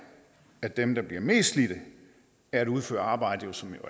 at dem der bliver mest slidt af at udføre arbejde som jo